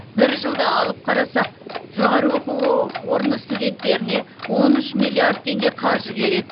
бір жылды алып қарасақ жоғары оқу орны студенттеріне он үш миллиард теңге қаржы керек